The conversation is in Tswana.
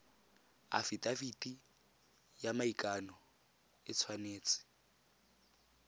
afitafiti ya maikano e tshwanetse